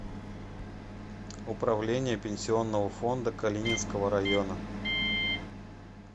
управление пенсионного фонда калининского района